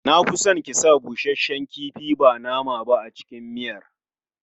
Da na fi son ki sa busasshen kifi ba nama ba a cikin miyan.